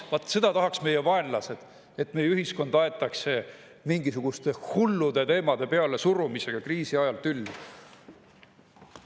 Vaat seda tahaks meie vaenlased, et meie ühiskond aetakse mingisuguste hullude teemade pealesurumisega kriisi ajal tülli.